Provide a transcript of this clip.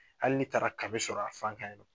Hali taara kami sɔrɔ a fan kan